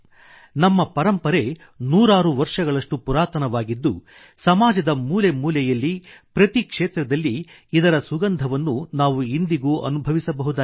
ನಮ್ಮ ಪರಂಪರೆ ನೂರಾರು ವರ್ಷಗಳಷ್ಟು ಪುರಾತನವಾಗಿದ್ದು ಸಮಾಜದ ಮೂಲೆ ಮೂಲೆಯಲ್ಲಿ ಪ್ರತಿ ಕ್ಷೇತ್ರದಲ್ಲಿ ಇದರ ಸುಗಂಧವನ್ನು ನಾವು ಇಂದಿಗೂ ಅನುಭವಿಸಬಹುದಾಗಿದೆ